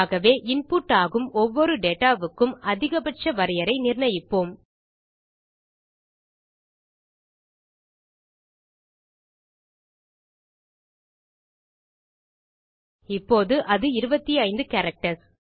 ஆகவே இன்புட் ஆகும் ஒவ்வொரு டேட்டா வுக்கும் அதிக பட்ச வரையை நிர்ணயிப்போம் இப்போது அது 25 கேரக்டர்ஸ்